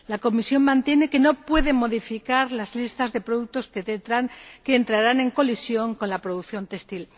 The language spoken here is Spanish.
La Comisión mantiene que no puede modificar las listas de productos que entrarán en colisión con la producción textil.